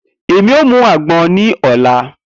Emi o mu agbon ni ọla.